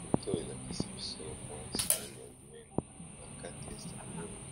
Foto oyo elakisi biso mwa sani ya monene na kati ya sani oyo